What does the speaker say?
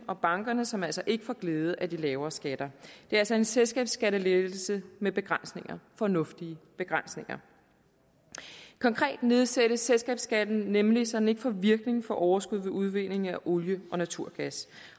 og bankerne som altså ikke får glæde af de lavere skatter det er altså en selskabsskattelettelse med begrænsninger fornuftige begrænsninger konkret nedsættes selskabsskatten nemlig så den ikke får virkning for overskud ved udvinding af olie og naturgas